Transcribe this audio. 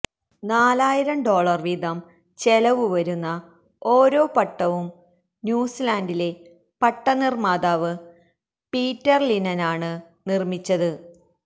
നാലായിരം ഡോളര് വീതം ചെലവ് വരുന്ന ഓരോ പട്ടവും ന്യൂസിലാന്ഡിലെ പട്ടം നിര്മാതാവ് പീറ്റര് ലിനനാണ് നിര്മിച്ചത്